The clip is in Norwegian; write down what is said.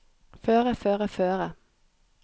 føre føre føre